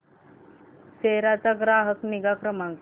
सेरा चा ग्राहक निगा क्रमांक